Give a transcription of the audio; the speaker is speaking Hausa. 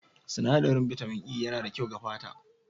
Sinadarin bitamin E yana da kyau ga fata.